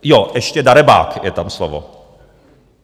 Jo, ještě darebák, je tam slovo.